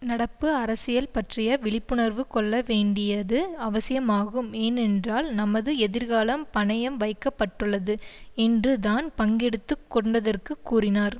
நடப்பு அரசியல் பற்றிய விழிப்புணர்வு கொள்ள வேண்டியது அவசியமாகும் ஏனென்றால் நமது எதிர்காலம் பணயம் வைக்க பட்டுள்ளது என்று தான் பங்கெடுத்து கொண்டதற்கு கூறினார்